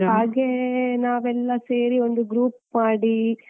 ಹಾಗೇ ನಾವೆಲ್ಲಾ ಸೇರಿ ಒಂದು group ಮಾಡಿ.